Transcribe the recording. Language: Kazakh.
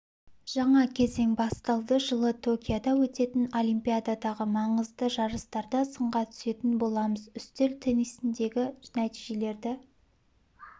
жаңа кезең басталды жылы токиода өтетін олимпиададағы маңызды жарыстарда сынға түсетін боламыз үстел теннисіндегі нәтижелерді